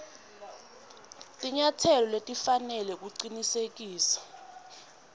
tinyatselo letifanele kucinisekisa